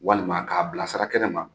Walima ka bila sara kɛnɛ ma